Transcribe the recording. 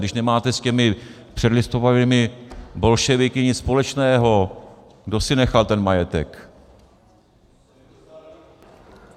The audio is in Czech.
Když nemáte s těmi předlistopadovými bolševiky nic společného, kdo si nechal ten majetek?